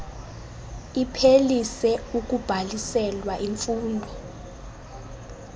iphelise ukubhaliselwa imfundo